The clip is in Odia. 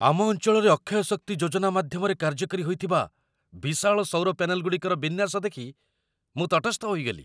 ଆମ ଅଞ୍ଚଳରେ ଅକ୍ଷୟ ଶକ୍ତି ଯୋଜନା ମାଧ୍ୟମରେ କାର୍ଯ୍ୟକାରୀ ହୋଇଥିବା ବିଶାଳ ସୌର ପ୍ୟାନେଲଗୁଡ଼ିକର ବିନ୍ୟାସ ଦେଖି ମୁଁ ତଟସ୍ଥ ହୋଇଗଲି।